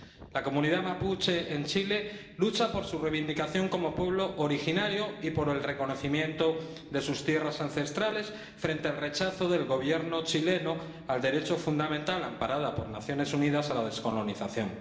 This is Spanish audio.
La comunidad mapuche en Chile lucha por su reivindicación como pueblo originario y por el reconocimiento de sus tierras ancestrales, frente al rechazo del Gobierno chileno al derecho fundamental, amparado por las Naciones Unidas, a la descolonización.